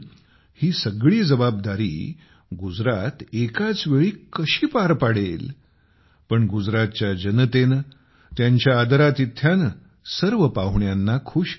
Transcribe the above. ही सगळी जबाबदारी गुजरात एकाचवेळी कशी पार पाडेल पण गुजरातच्या जनतेने त्यांच्या आदरातिथ्याने सर्व पाहुण्यांना खुश केले